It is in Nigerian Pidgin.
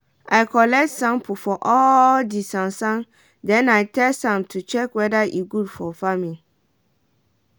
i collect sample for all di sansan den i test am to check weada e go good for farming.